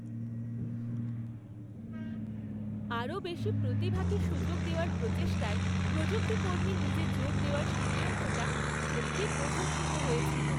আরও বেশি প্রতিভাকে সুযোগ দেওয়ার প্রচেষ্টায় প্রযুক্তিকর্মীর নিজে যোগ দেওয়ার সিদ্ধান্তটা সত্যিই প্রশংসিত হয়েছিল।